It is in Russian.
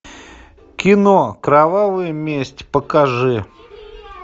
кино кровавая месть покажи